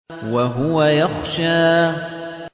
وَهُوَ يَخْشَىٰ